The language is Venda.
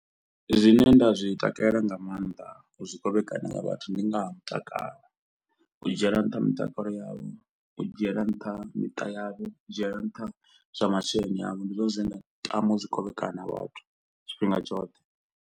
Zwine nda zwi takalela nga maanḓa u kovhekanya nga vhathu ndi nga ha mutakalo, u dzhiela nṱha mitakalo yavho, u dzhiela nṱha miṱa yavho, dzhiela nṱha zwa masheleni avho, ndi zwone zwine nda tama u zwi kovhekana vhathu tshifhinga tshoṱhe.